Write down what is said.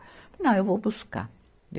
Falei, não, eu vou buscar.